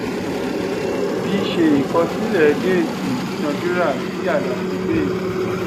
v ṣé ìkọsílẹ date ìdúnadúrà sí àlàfo date